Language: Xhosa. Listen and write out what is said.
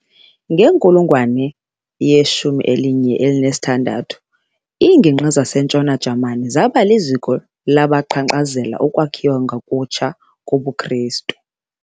Ngenkulungwane ye-16, iingigqi zasentshona Jamani zaba liziko labaqhankqalazela ukwakhiwa ngokutsha kobuKristu.